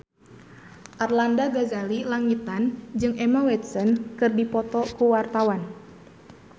Arlanda Ghazali Langitan jeung Emma Watson keur dipoto ku wartawan